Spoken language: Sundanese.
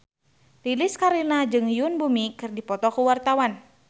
Lilis Karlina jeung Yoon Bomi keur dipoto ku wartawan